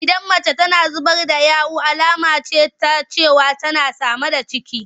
Idan mace tana zubar da yawu alama ce ta cewa ta sami ciki.